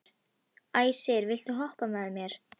Æsir, viltu hoppa með mér?